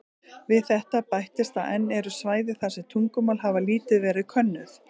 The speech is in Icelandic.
Við þetta bætist að enn eru svæði þar sem tungumál hafa lítið verið könnuð.